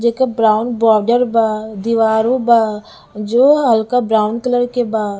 जेकर brown border बा दिवरो बा जो हल्का ब्राउन कलर के बा--